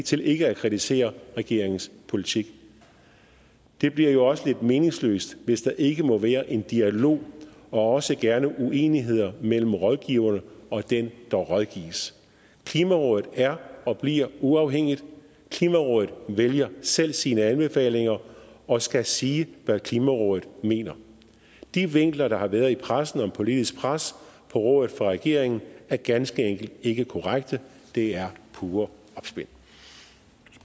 til ikke at kritisere regeringens politik det bliver jo også lidt meningsløst hvis der ikke må være en dialog og også gerne uenigheder mellem rådgiverne og dem der rådgives klimarådet er og bliver uafhængigt klimarådet vælger selv sine anbefalinger og skal sige hvad klimarådet mener de vinkler der har været i pressen om politisk pres på rådet fra regeringen er ganske enkelt ikke korrekte det er pure